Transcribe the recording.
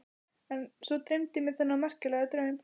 En svo dreymdi mig þennan merkilega draum.